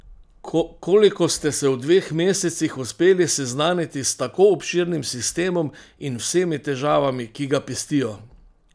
Koliko ste se v dveh mesecih uspeli seznaniti s tako obširnim sistemom in vsemi težavami, ki ga pestijo?